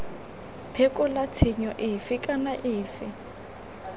phekola tshenyo efe kana efe